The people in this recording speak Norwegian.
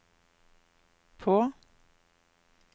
på